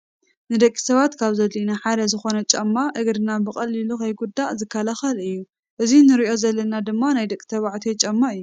ንደቂ ሰባት ካብ ዘድልዮና ሓደ ዝኮነ ጫማ እግርና በቀሊሉ ከይጉዳእ ዝከላከል እዩ። እዙይ እንርእዮ ዘለና ድማ ናይ ደቂ ተባዕትዮ ጫማ እዮ።